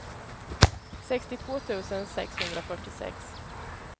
sextiotvå tusen sexhundrafyrtiosex